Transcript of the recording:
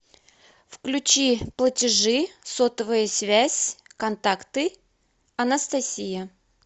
включи платежи сотовая связь контакты анастасия